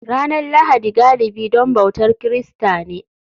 Ranar Lahadi galibi don bautar Kirista ne